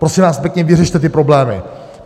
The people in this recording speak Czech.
Prosím vás pěkně, vyřešte ty problémy.